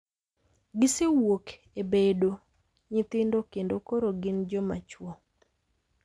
Gisewuok e bedo nyithindo kendo koro gin joma chwo.